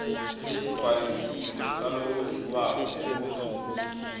lesigcwalisiwe salowondliwako efomini